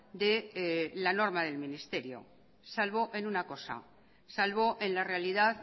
de la norma del ministerio salvo en una cosa salvo en la realidad